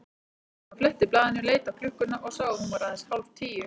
Hann fletti blaðinu, leit á klukkuna og sá að hún var aðeins hálf tíu.